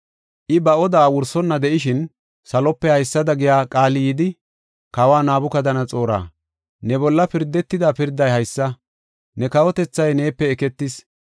I, ba odaa wursonna de7ishin, salope haysada giya qaali yidi, “Kawa Nabukadanaxoora, ne bolla pirdetida pirday haysa: ne kawotethay neepe eketis.